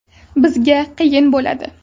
Bizga qiyin bo‘ladi.